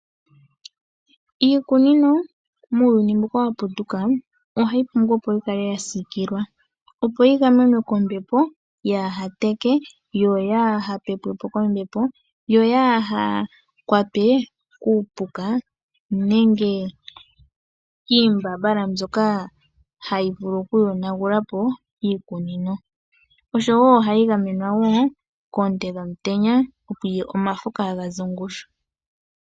Iikunino muuyuni mbuka wa putuka ohayi pumbwa okukala ya siikilwa, opo yi gamenwe kombepo, yaaha teke yo yaaha pepwe po kombepo, yo yaakwatwe kiipuka nenge kiimbambala mbyoka hayi vulu okuyonagula po iikunino. Ohayi gamenwa wo koonte dhetango, opo omafo kaaga ze ongushu.